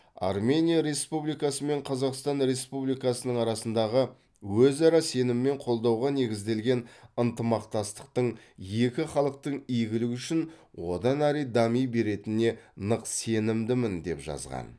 армения республикасы мен қазақстан республикасының арасындағы өзара сенім мен қолдауға негізделген ынтымақтастықтың екі халықтың игілігі үшін одан әрі дами беретініне нық сенімдімін деп жазған